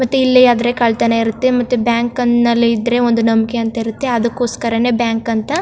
ಮತ್ತೆ ಇಲ್ಲಿ ಆದ್ರೆ ಕಳ್ಳತನ್ ಇರುತ್ತೆ ಮತ್ತೆ ಬ್ಯಾಂಕ್ ನಲ್ಲಿ ಇದ್ರೆ ಒಂದು ನಂಬಿಕೆ ಅಂತ ಇರುತ್ತೆ ಅದಕೊಸ್ಕರನೆ ಬ್ಯಾಂಕ್ ಅಂತ --